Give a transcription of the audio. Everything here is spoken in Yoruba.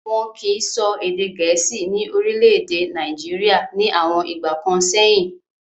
Wọ́n kìí sọ èdè gẹ̀ẹ́sì ní orílẹ̀-èdè Nàìjíríà ní àwọn ìgbà kan sẹ́yìn.